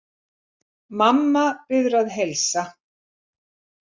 Mamma biður að heilsa.